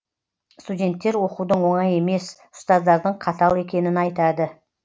студенттер оқудың оңай емес ұстаздардың қатал екенін айтады